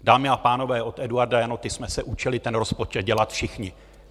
Dámy a pánové, od Eduarda Janoty jsme se učili ten rozpočet dělat všichni.